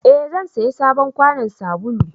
eh zan saya sabon kwanon sabulu